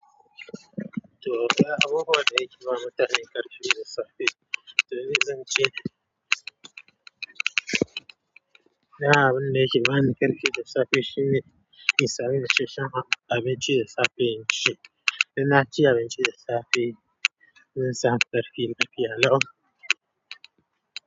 To, daya abubuwa da yake ba mutane ƙarfi da safe, to me zan ce ne. Dan abun da yake bani ƙarfi da safe shine in samu isasshen abinci da safe in ci. Dan na ci abinci da safe, zan samu ƙarfin lafiya lau.